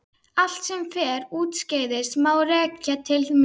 allt sem fer úrskeiðis má rekja til mín.